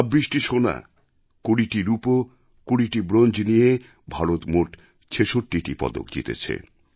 ২৬টি সোনা ২০টি রূপো ২০টি ব্রোঞ্জ নিয়ে ভারত মোট ৬৬টা পদক জিতেছে